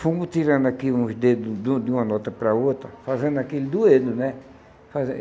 fomos tirando aqui uns dedos do de uma nota para a outra, fazendo aquele dueto, né? fazendo